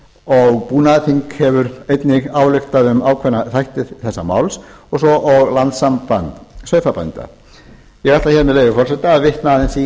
og búnaðarþing hefur einnig ályktað um ákveðna þætti þessa máls svo og landssamband sauðfjárbænda ég ætla hér með leyfi forseta að vitna aðeins í